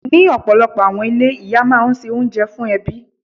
Ní ọ̀pọ̀lọpọ̀ àwọn ilé, Ìyá máa ń ṣe oúnjẹ fún ẹbí.